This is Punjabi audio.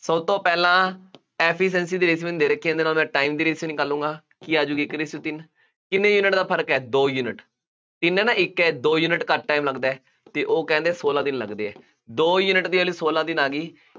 ਸਭ ਤੋਂ ਪਹਿਲਾਂ efficiency ਦੀ ratio ਇਹਨੇ ਦੇ ਰੱਖੀ ਹੈ, ਇਹਦੇ ਨਾਲੋਂ ਮੈਂ time ਦੀ ratio ਨਿਕਾਲੂਗਾਂ, ਕੀ ਆ ਜੂ ਗੀ ਇੱਕ ratio ਤਿੰਨ, ਕਿੰਨੇ ਯੂਨਿਟ ਦਾ ਫਰਕ ਹੈ, ਦੋ ਯੂਨਿਟ, ਦਿਨ ਹੈ ਨਾ ਇੱਕ ਹੈ, ਦੋ ਯੂਨਿਟ ਘੱਟ time ਲੱਗਦਾ ਅਤੇ ਉਹ ਕਹਿੰਦੇ ਸੋਲਾਂ ਦਿਨ ਲੱਗਦੇ ਹੈ, ਦੋ ਯੂਨਿਟ ਦੀ value ਸੋਲਾਂ ਦਿਨ ਆ ਗਈ।